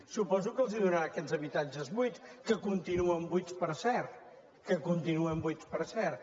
suposo que els donarà aquests habitat·ges buits que continuen buits per cert que continuen buits per cert